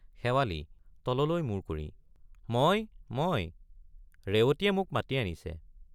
শেৱালি— তললৈ মূৰ কৰি মই মই—ৰেৱতীয়ে মোক মাতি আনিছে।